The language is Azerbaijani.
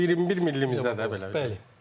O 21 millimizdə də belə.